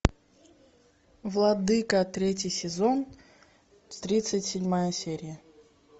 владыка третий сезон тридцать седьмая серия